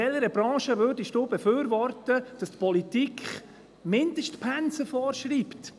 In welcher Branche würden Sie es befürworten, dass die Politik Mindestpensen vorschreibt?